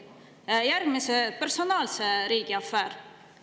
Järgmine oli personaalse riigi afäär.